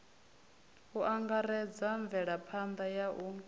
u angaredza mvelaphanḓa ya u